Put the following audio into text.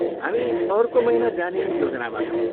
हामी अर्को महिना जाने योजनामा छौँ।